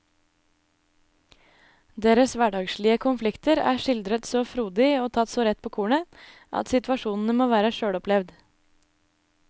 Deres hverdagslige konflikter er skildret så frodig og tatt så rett på kornet at situasjonene må være selvopplevd.